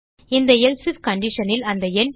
இந்த else I F condition ல் அந்த எண்